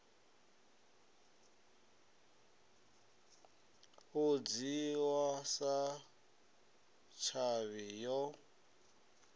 u dzhiwa sa tshavhi yo